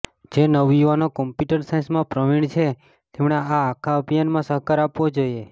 જે નવયુવાનો કમ્પ્યૂટર સાયન્સમાં પ્રવીણ છે તેમણે આ આખા અભિયાનમાં સહકાર આપવો જોઈએ